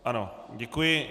Ano, děkuji.